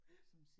Ja